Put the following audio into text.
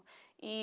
E